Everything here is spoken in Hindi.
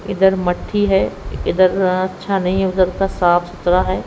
इधर मट्ठी है इधर अच्छा नहीं है उधर का साफ सुथरा है।